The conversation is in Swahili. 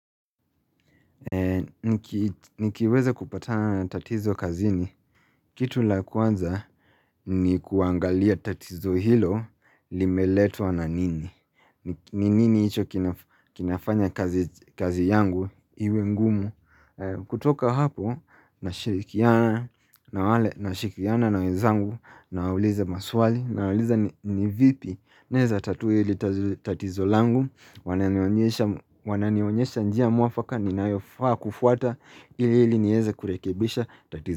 Nikiweza kupatana tatizo kazini. Kitu la kwanza ni kuangalia tatizo hilo limeletwa na nini. Ni nini hicho kinafanya kazi yangu iwe mgumu. Kutoka hapo na shirikiana na wale na shirikiana na wezangu. Na wauliza maswali na wauliza ni vipi ninaweza tatua hili tatizo langu wananionyesha wananionyesha njia muafaka ninayofaa kufuata ili ili niweze kurekebisha tatizo.